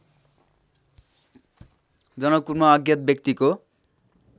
जनकपुरमा अज्ञात व्यक्तिको